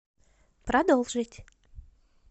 продолжить